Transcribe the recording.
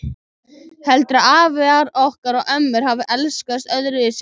Ætli afar okkar og ömmur hafi elskast öðruvísi en við?